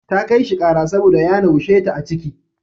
Ta kai shi ƙara saboda ya naushe ta a ciki.